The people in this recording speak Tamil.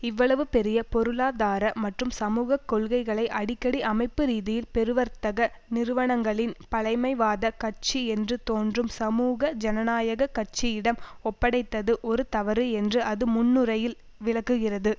இவ்வளவு பெரிய பொருளாதார மற்றும் சமூக கொள்கைகளை அடிக்கடி அமைப்பு ரீதியில் பெருவர்த்தக நிறுவனங்களின் பழமைவாத கட்சி என்று தோன்றும் சமூக ஜனநாயக கட்சியிடம் ஒப்படைத்தது ஒரு தவறு என்று அது முன்னுரையில் விளக்குகிறது